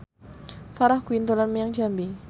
Farah Quinn dolan menyang Jambi